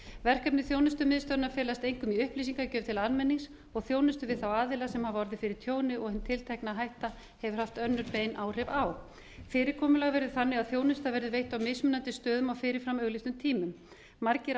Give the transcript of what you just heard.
verkefni þjónustumiðstöðvanna felast einkum í upplýsingagjöf til almennings og þjónustu við þá aðila sem hafa orðið fyrir tjóni og hin tiltekna hætta hefur haft önnur bein áhrif á fyrirkomulag verður þannig að þjónusta verður veitt á mismunandi stöðum og fyrir fram auglýstum tímum margir